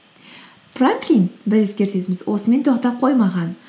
франклин бір ескертетініміз осымен тоқтап қоймаған